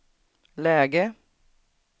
läge